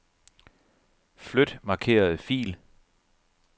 Flyt markerede fil.